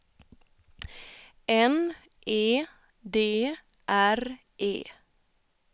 N E D R E